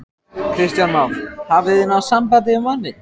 Kristján Már: Hafið þið náð sambandi við manninn?